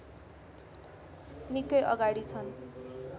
निकै अगाडि छन्